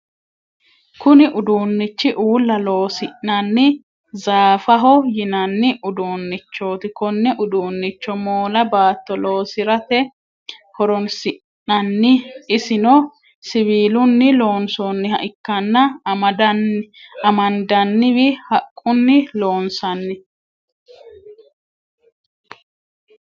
Kunni uduunichi uula loosi'nanni zaafaho yinnanni uduunichoti. Konne uduunicho moola baatto loosirate horoonsi'nanni. Isino siwiilunni loonsoonniha ikkanna amandanniwa haqunni loonsanni.